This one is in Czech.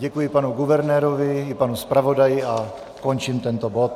Děkuji panu guvernérovi i panu zpravodaji a končím tento bod.